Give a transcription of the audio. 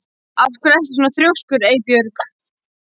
Af hverju ertu svona þrjóskur, Eybjörg?